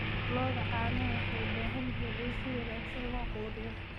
Lo'da caanaha waxay u baahan yihiin in si wanaagsan loo quudiyo.